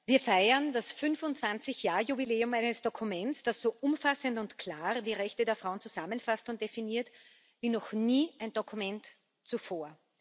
Wir feiern das 25 Jahr Jubiläum eines Dokuments, das so umfassend und klar die Rechte der Frauen zusammenfasst und definiert wie noch nie ein Dokument zuvor.